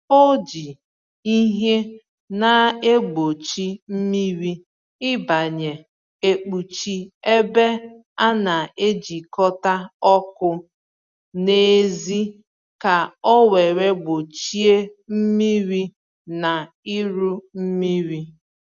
o ji ìhè na egbochi mmiri ibanye ekpuchi ebe a na-ejikọta ọkụ n’èzí ka owere gbochie mmiri na iru mmiri.